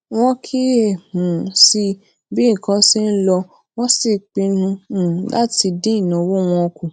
wón kíyè um sí bí nǹkan ṣe ń lọ wón sì pinnu um láti dín ìnáwó wọn kù